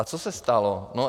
A co se stalo?